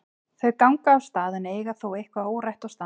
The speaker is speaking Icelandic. Þau ganga af stað en eiga þó eitthvað órætt og stansa.